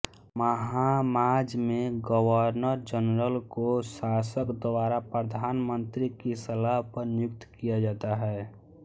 Bahamas में governor general को शासक द्वारा प्रधानमंत्री की सलाह पर नियुक्त किया जाता है